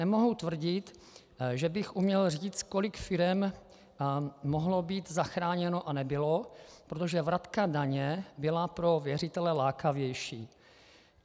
Nemohu tvrdit, že bych uměl říct, kolik firem mohlo být zachráněno a nebylo, protože vratka daně byla pro věřitele lákavější.